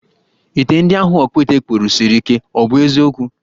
Ite ndi ahụ ọkpụite kpụrụ siri ike, ọ bụ eziokwu?